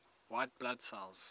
white blood cells